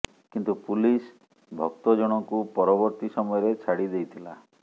କିନ୍ତୁ ପୁଲିସ ଭକ୍ତ ଜଣଙ୍କୁ ପରବର୍ତୀ ସମୟରେ ଛାଡ଼ି ଦେଇଥିଲା